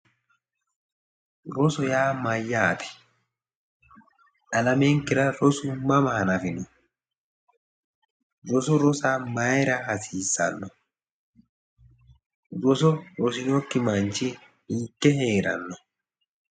rosu yaa mayyaate? alamenkera rosu mama hanafino? roso rosa mayiira hasiissano? roso rosinokki manchi hiikke hee'ranno?